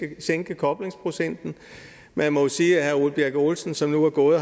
at sænke koblingsprocenten man må jo sige at herre ole birk olesen som nu er gået